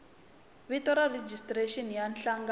vito ra rejistrexini ya nhlangano